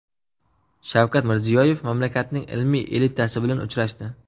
Shavkat Mirziyoyev mamlakatning ilmiy elitasi bilan uchrashdi.